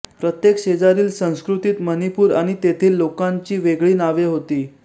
प्रत्येक शेजारील संस्कृतीत मणिपूर आणि तेथील लोकांची वेगळी नावे होती